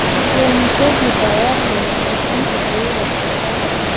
room টো ভিতৰত বহুকেইখন টেবুল ৰখাই থোৱা আছ --